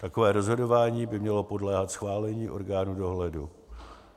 Takové rozhodování by mělo podléhat schválení orgánu dohledu.